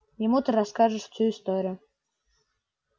ему ты расскажешь всю историю